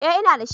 Eh ina dashi